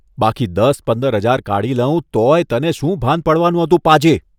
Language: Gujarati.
બાકી દસ પંદર હજાર કાઢી લઉં તોયે તને શું ભાન પડવાનું હતું, પાજી!